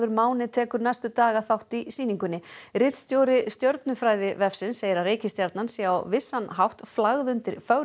Máni tekur næstu daga þátt í sýningunni ritstjóri Stjörnufræðivefsins segir að reikistjarnan sé á vissan hátt flagð undir fögru